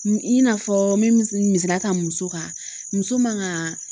I n'a fɔ me misaliya ta muso kan muso man ka